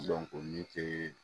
min tɛ